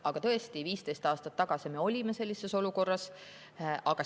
Aga tõesti, 15 aastat tagasi me olime sellises olukorras.